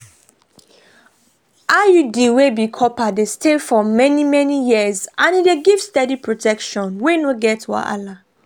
iud wey be copper dey stay for many-many years and e dey give steady protection wey no get wahala.